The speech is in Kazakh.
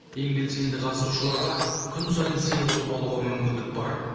ең белсенді қатысушыларға күн сайын сыйлық ұтып алуға мүмкіндік бар